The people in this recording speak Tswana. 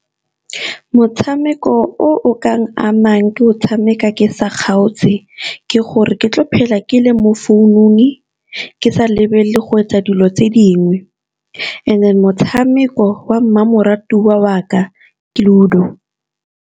Motshameko o o ka amang ke o tshameka ke sa kgaotse, ke gore ke tlo phela ke le mo founung ke sa lebelele go etsa dilo tse dingwe. And then motshameko wa mmamoratwa wa ka ke ludo.